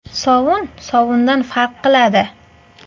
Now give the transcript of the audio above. Sovun sovundan farq qiladi.